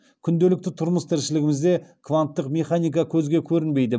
күнделікті тұрмыс тіршілігімізде кванттық механика көзге көрінбейді